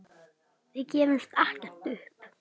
Við gefumst ekkert upp.